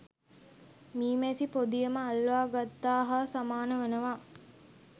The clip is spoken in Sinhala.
මී මැසි පොදියම අල්වාගත්තා හා සමාන වනවා.